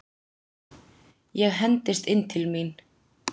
Ég hendist inn til mín.